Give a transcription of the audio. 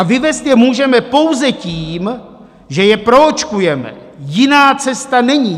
A vyvést je můžeme pouze tím, že je proočkujeme, jiná cesta není.